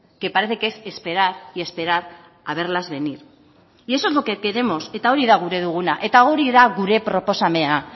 que parece que es esperar y esperar a verlas venir y eso es lo que queremos eta hori da gura duguna eta hori da gure proposamena